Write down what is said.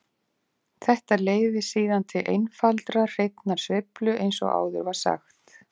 Þetta leiðir síðan til einfaldrar hreinnar sveiflu eins og áður var sagt.